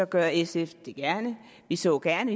gør sf det gerne vi så gerne